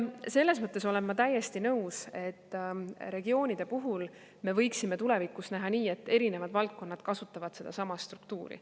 Selles mõttes olen ma täiesti nõus, et regioonide puhul me võiksime tulevikus teha nii, et erinevad valdkonnad kasutavad sedasama struktuuri.